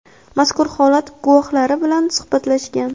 mazkur holat guvohlari bilan suhbatlashgan.